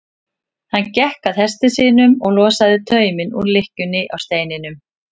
Hann gekk að hesti sínum og losaði tauminn úr lykkjunni á steininum.